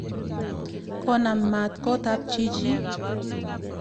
Kona maat kot ap chichin.